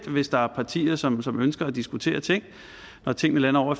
hvis der er partier som som ønsker at diskutere ting når tingene lander ovre